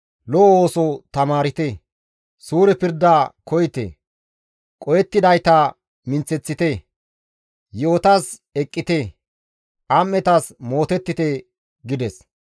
Lo7o ooso tamaarte; suure pirda koyite; qohettidayta minththeththite; yi7otas eqqite; am7etas mootettite» gides.